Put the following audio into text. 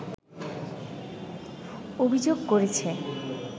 অভিযোগ করেছে